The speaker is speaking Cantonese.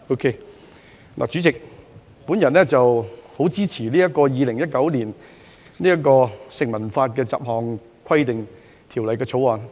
代理主席，我十分支持《2019年成文法條例草案》。